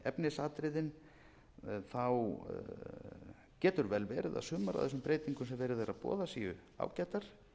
efnisatriðin getur vel verið að sumar af þessum breytingum sem verið er að boða séu ágætar